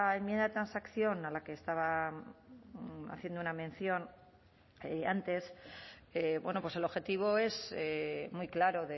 enmienda de transacción a la que estaba haciendo una mención antes pues el objetivo es muy claro